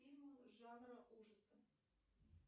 фильмы жанра ужасы